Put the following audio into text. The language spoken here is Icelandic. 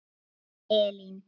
Þín Elín.